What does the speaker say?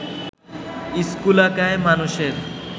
স্থূলকায় মানুষের